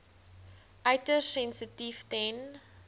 uiters sensitief ten